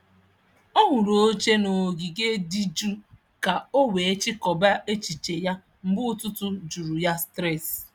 Ọ hụrụ oche n’ogige dị jụụ ka o wee chịkọba echiche ya mgbe ụtụtụ juru ya stress.